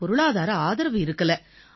பொருளாதார ஆதரவு இருக்கலை